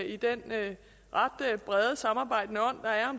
i den ret brede samarbejdende ånd